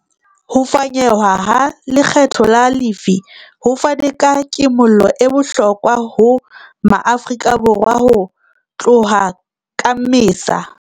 Ho fanyehwa ha lekgetho la lefii ho fane ka kimollo e bohlokwa ho Maafrika Borwa ho tloha ka Mmesa.